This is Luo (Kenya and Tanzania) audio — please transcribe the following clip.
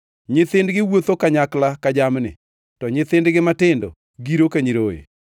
Nyithindgi wuotho kanyakla ka jamni; to nyithindgi matindo giro ka nyiroye.